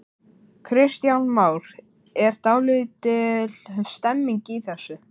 Kristján Már: Er dálítil stemning í þessu?